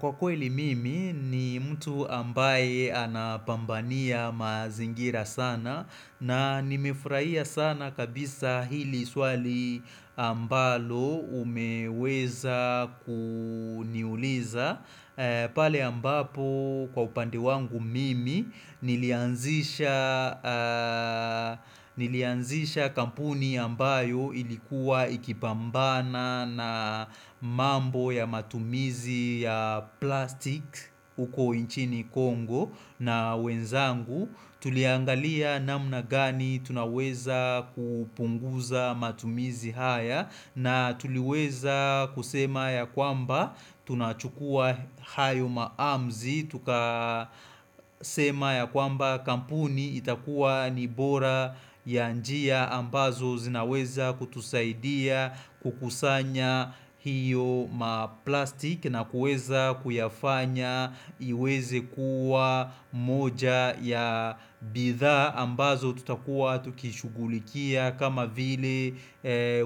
Kwa kweli mimi ni mtu ambaye anabambania mazingira sana na nimefurahia sana kabisa hili swali ambalo umeweza kuniuliza. Pale ambapo kwa upande wangu mimi nilianzisha kampuni ambayo ilikuwa ikibambana na mambo ya matumizi ya plastik uko inchini Kongo na wenzangu. Tuliangalia namna gani tunaweza kupunguza matumizi haya na tuliweza kusema ya kwamba tunachukua hayo maamzi Tuka sema ya kwamba kampuni itakuwa ni bora ya njia ambazo zinaweza kutusaidia kukusanya hiyo maplastik na kuweza kuyafanya iweze kuwa moja ya bidhaa ambazo tutakuwa tukishughulikia kama vile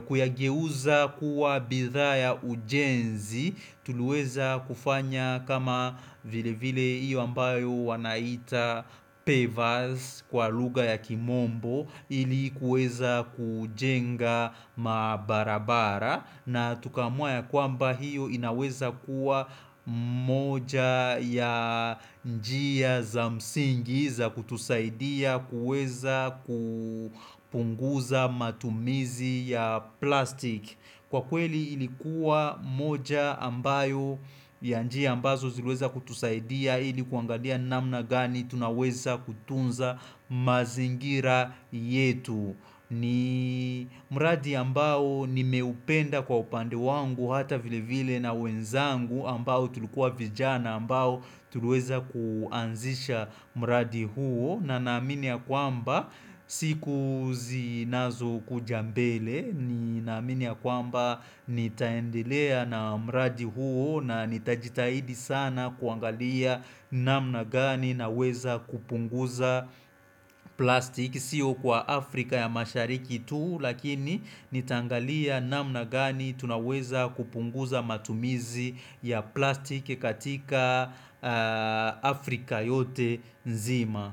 kuyageuza kuwa bidhaa ya ujenzi Tuliweza kufanya kama vile vile iyo ambayo wanaita pevas kwa lugha ya kimombo ili kuweza kujenga mabarabara na tukaamua ya kwamba hiyo inaweza kuwa moja ya njia za msingi za kutusaidia kuweza kupunguza matumizi ya plastic Kwa kweli ilikuwa moja ambayo ya njia ambazo ziliweza kutusaidia ili kuangalia namna gani tunaweza kutunza mazingira yetu ni mradi ambao nimeupenda kwa upande wangu hata vile vile na wenzangu ambao tulikuwa vijana ambao tuliweza kuanzisha mradi huo na naamini ya kwamba siku zinazo kuja mbele ni naamini ya kwamba nitaendelea na mradi huo na nitajitahidi sana kuangalia namna gani naweza kupunguza plastik Sio kwa Afrika ya mashariki tuu lakini nitaangalia namna gani tunaweza kupunguza matumizi ya plastik katika Afrika yote nzima.